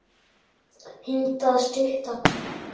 Hindrar stutta hrókun.